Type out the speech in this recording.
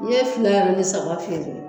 N ye fila ni saba feere